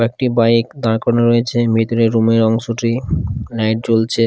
একটি বাইক দাঁড় করানো রয়েছে মিতরের রুমের অংশটি লাইট জ্বলছে ।